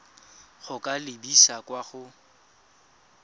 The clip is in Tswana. go ka lebisa kwa go